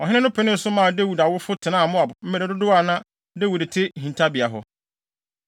Ɔhene no penee so maa Dawid awofo tenaa Moab mmere dodow a na Dawid te ne hintabea hɔ.